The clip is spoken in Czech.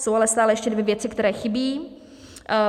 Jsou ale stále ještě dvě věci, které chybí.